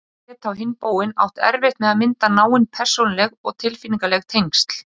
Þeir geti á hinn bóginn átt erfitt með að mynda náin persónuleg og tilfinningaleg tengsl.